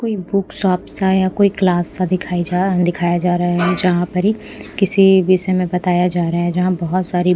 कोई book shop सा या कोई क्लास सा दिखाई जा दिखाया जा रहा है जहां पर ही किसी विषय में बताया जा रहा है जहां बहुत सारी--